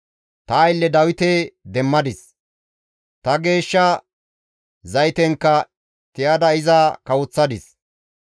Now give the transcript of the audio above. Ta aylle Dawite demmadis; ta geeshsha zaytenkka tiyada iza kawoththadis.